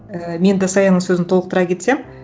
ііі мен де саяның сөзін толықтыра кетсем